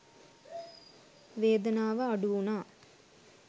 වේදනාව අඩු වුනා